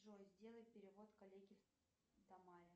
джой сделай перевод коллеге тамаре